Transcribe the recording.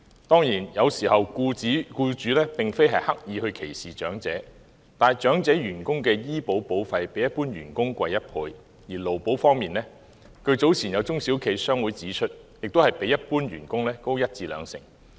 當然，有時候僱主並非刻意歧視長者，但長者員工的醫療保險費較一般員工高1倍，而在勞工保險方面，據早前有中小企商會指出，亦較一般員工高一至兩成。